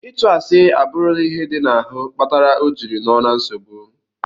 Itụ asi aburula ihe di na ahu kpatara ojiri noo na nsogbu.